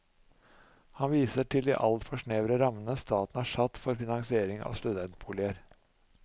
Han viser til de altfor snevre rammene staten har satt for finansiering av studentboliger.